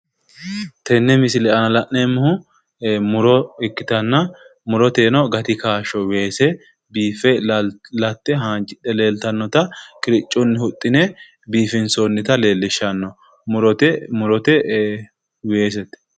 Tenne misile aana la'neemmohu muro ikkitanna muroteeno gati kaashsho weese biiffe latte haanjidhe leeltannota qiriccunni huxxine biifinsoonnita leellishanno murote muroteeno weesete